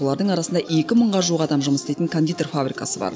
олардың арасында екі мыңға жуық адам жұмыс істейтін кондитер фабрикасы бар